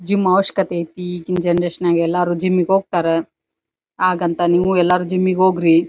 Gym ಅವಶ್ಯಕತೆ ಐತಿ ಈಗಿನ್ ಜನರೇಶನ್ ನಾಗ್ ಎಲ್ಲರು ಜಿಮ್ಮಿಗ್ ಹೋಗ್ತಾರಾ ಆಗಂತ ನೀವು ಎಲ್ಲಾರು ಜಿಮ್ಮಿಗ್ ಹೋಗ್ರಿ.